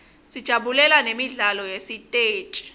sijabulela nemidlalo yesiteji